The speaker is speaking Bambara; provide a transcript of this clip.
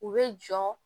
U bɛ jɔ